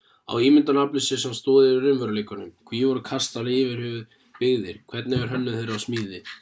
á ímyndunaraflið sér samt stoð í raunveruleikanum hví voru kastalar yfirhöfuð byggðir hvernig var hönnun þeirra og smíði